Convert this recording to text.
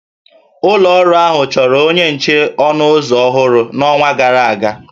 Ụlọ ọrụ ahụ chọrọ onye nche ọnụ ụzọ ọhụrụ n'ọnwa gara aga